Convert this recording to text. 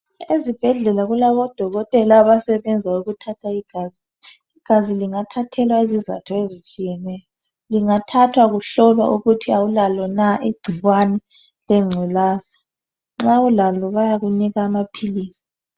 Ezibhedlela kulabodokotela abasebenza ukuthatha igazi. Igazi lingathathelwa izizatho ezitshiyeneyo. Lingathathwa kuhlolwa ukuthi awulalo na igcikwane lengculaza. Nxa ulalo bayakunika amaphilisi.